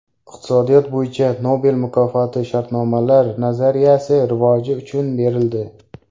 Iqtisodiyot bo‘yicha Nobel mukofoti shartnomalar nazariyasi rivoji uchun berildi.